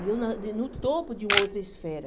E eu na no topo de uma outra esfera.